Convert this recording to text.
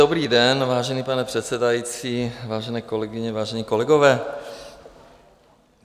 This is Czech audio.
Dobrý den, vážený pane předsedající, vážené kolegyně, vážení kolegové.